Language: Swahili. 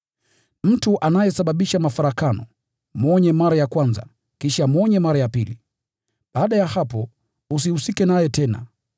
Mtu anayesababisha mafarakano, mwonye mara ya kwanza, kisha mwonye mara ya pili. Baada ya hapo, usihusike naye tena.